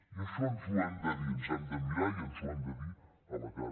i això ens ho hem de dir ens hem de mirar i ens ho hem de dir a la cara